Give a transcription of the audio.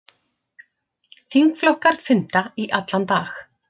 Þingflokkar funda í allan dag